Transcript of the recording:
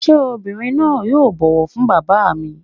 Ṣé obìnrin náà yóò bọ̀wọ̀ fún Bàbá mi.